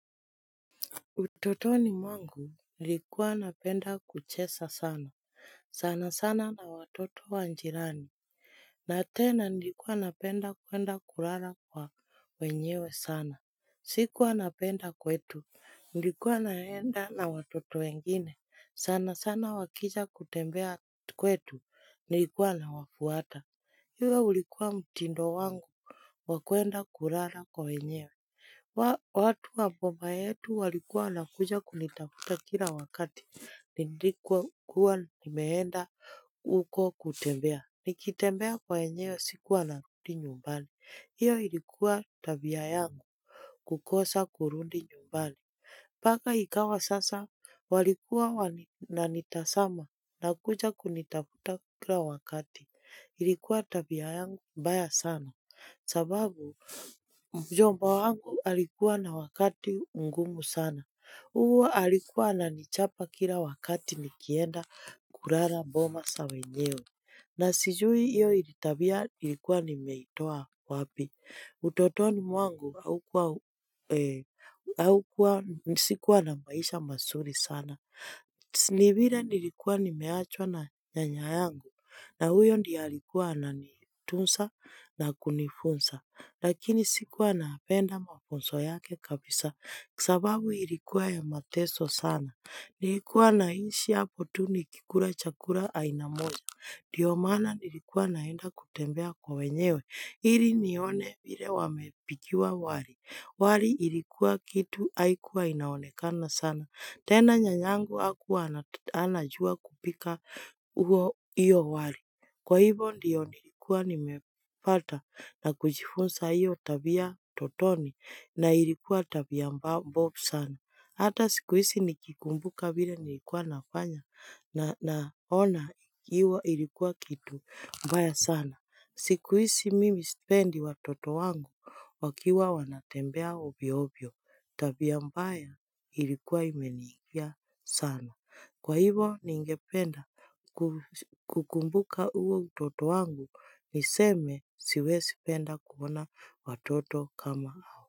Utotoni mwangu nilikuwa napenda kuchesa sana, sana sana na watoto wanjirani, na tena nilikuwa napenda kwenda kurara kwa wenyewe sana. Sikuwa napenda kwetu, nilikuwa naenda na watoto wengine, sana sana wakija kutembea kwetu, nilikuwa na wafuata. Iwa ulikuwa mtindo wangu wakuenda kurana kwa wenyewe watu wa mbomba yetu walikuwa nakuja kunitakuta kila wakati Nindikuwa nimeenda uko kutembea nikitembea kwa wenyewe sikuwa nakuti nyumbani Iyo ilikuwa tabiayangu kukosa kurundi nyumbani Paka ikawa sasa walikuwa na nitasama nakuja kunitakuta kila wakati Ilikuwa tabia yangu mbaya sana sababu mjomba wangu alikuwa na wakati ungumu sana huwa alikuwa na nichapa kila wakati nikienda kurana mboma sawenyeo na sijui iyo ilitabia ilikuwa nimetoa wapi utotoni wangu haukua nisikuwa na maisha masuri sana Nibira nilikuwa nimeachwa na nyanya yangu na huyo ndiyalikuwa ananitunsa na kunifunsa, lakini sikuwa naapenda mafunso yake kabisa, kisababu ilikuwa ya mateso sana. Nilikuwa naishi hapo tuni kikura chakula aina moja. Diyo maana ilikuwa naenda kutembea kwa wenyewe, hili nione vile wamepikiwa wali. Wali ilikuwa kitu haikuwa inaonekana sana. Tena nyanyangu hakuwa anajua kupika huo iyo wali. Kwa hivyo ndiyo nilikuwa nimefata na kujifunsa hiyo tabia totoni na ilikuwa tabia mbobu sana. Hata sikuisi nikikumbuka vile nilikuwa nafanya na ona ikiwa ilikuwa kitu mbaya sana. Siku hizi mimi spendi watoto wangu wakiwa wanatembea ovyo ovyo tabia ambaya ilikuwa imenikia sana. Kwa hivo ningependa kukumbuka huo utoto wangu niseme siwe spenda kuona watoto kama au.